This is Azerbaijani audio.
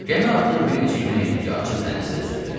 Gəmi artıq bir neçə gün idi ki, açıq dənizdə üzürdü.